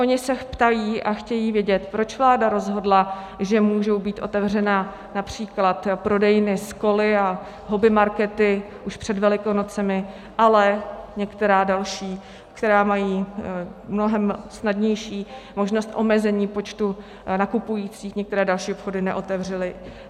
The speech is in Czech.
Oni se ptají a chtějí vědět, proč vláda rozhodla, že můžou být otevřeny například prodejny s koly a hobbymarkety už před Velikonocemi, ale některé další, které mají mnohem snadnější možnost omezení počtu nakupujících, některé další obchody, neotevřely.